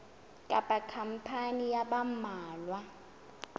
kapa khampani ya ba mmalwa